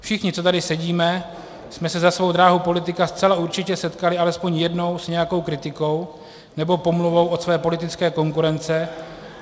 Všichni, co tady sedíme, jsme se za svou dráhu politika zcela určitě setkali alespoň jednou s nějakou kritikou nebo pomluvou od své politické konkurence.